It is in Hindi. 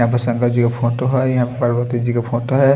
यहां पे शंकर जी का फ़ोटो है यहां पार्वती जी का फोटो है।